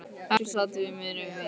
Hekla sat fyrir miðju í víti.